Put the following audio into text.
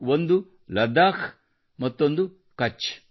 ಒಂದು ಲದ್ದಾಖ್ ಮತ್ತೊಂದು ಕಛ್